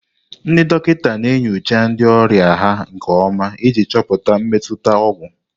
Ndị dọkịta na-enyocha ndị ọrịa ha nke ọma iji chọpụta mmetụta ọgwụ.